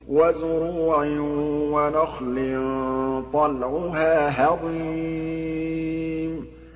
وَزُرُوعٍ وَنَخْلٍ طَلْعُهَا هَضِيمٌ